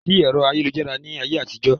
Kòsí ẹ̀rọ ayélujára ni ayé àtijọ́